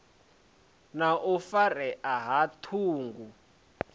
na u farea ha ṱhungu